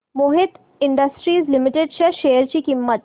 Mohit industries limited च्या share ची किंमत